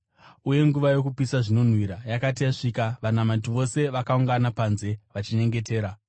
Uye nguva yokupisa zvinonhuhwira yakati yasvika, vanamati vose vakaungana panze vachinyengetera.